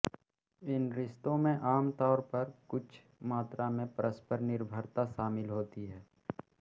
इन रिश्तों में आमतौर पर कुछ मात्रा में परस्पर निर्भरता शामिल होती है